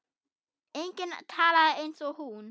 Enginn talaði eins og hún.